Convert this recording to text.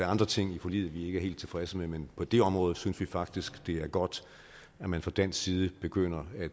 andre ting i forliget vi ikke er helt tilfredse med men på det område synes vi faktisk det er godt at man fra dansk side begynder at